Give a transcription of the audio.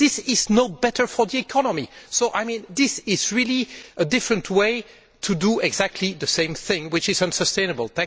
This is no better for the economy and is really a different way of doing exactly the same thing which is unsustainable.